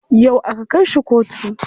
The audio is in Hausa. Yau aka kai shi kotu.